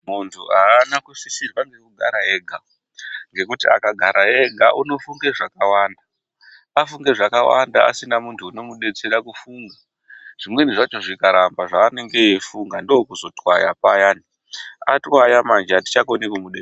Muntu aana kusisirwa ngekugara ega, ngekuti akagara ega unofunge zvakawanda. Afunge zvakawanda asina muntu unomudetsere kufunga, zvimweni zvacho zvikaramba zveanenge echifunga, ndiko kuzotwaya manji, atichakoni kumubatsira.